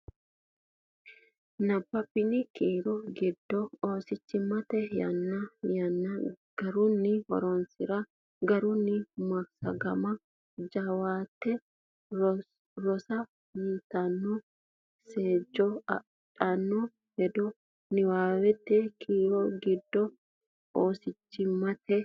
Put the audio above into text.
Nabbabbini kiiro giddo oosichimmate yannara yanna garunni roonsi’ra, garunni massagamanna jawaate rosa yitanno seejjo addino hedo Nabbabbini kiiro giddo oosichimmate.